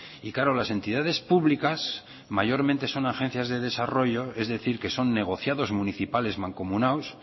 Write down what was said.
y claro las entidades públicas mayormente son agencias de desarrollo es decir que son negociados municipales mancomunados